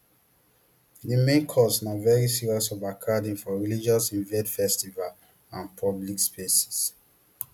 di main cause na very serious overcrowding for religious events festivals and public spaces